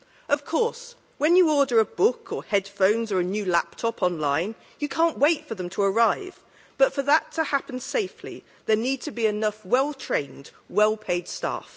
Of course, when you order a book or headphones or a new laptop online you can't wait for them to arrive but for that to happen safely there needs to be enough well trained, well paid staff.